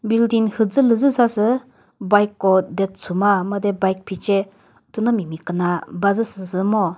building mhüzülü züsasü bike ko de chuma made bike phece thünomi miküna bazü sü ngo.